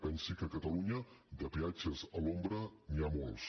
pensi que a catalunya de peatges a l’ombra n’hi ha molts